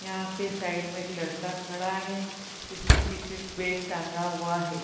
यहाँ पे साइड में एक लड़का खड़ा है जिसने पीछे बैग टंगा हुआ है |